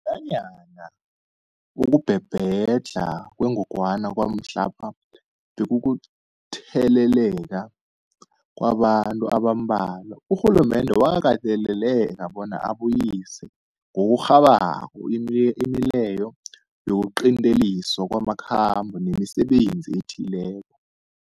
Nanyana ukubhebhedlha kwengogwana kwamhlapha bekukutheleleka kwabantu abambalwa, urhulumende wakateleleka bona abuyise ngokurhabako imileyo yokuqinteliswa kwamakhambo nemisebenzi ethileko.